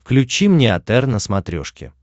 включи мне отр на смотрешке